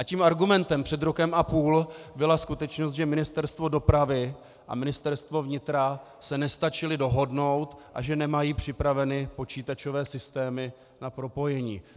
A tím argumentem před rokem a půl byla skutečnost, že Ministerstvo dopravy a Ministerstvo vnitra se nestačily dohodnout a že nemají připraveny počítačové systémy na propojení.